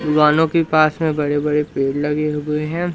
दुकानों के पासमें बड़े बड़े पेड़ लगें हुएं हैं।